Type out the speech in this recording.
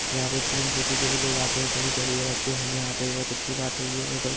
यहाँ पे film city के भी लोग आते है कभी कभी रहते है यहाँ पे बहुत अच्छी बात है ये होटल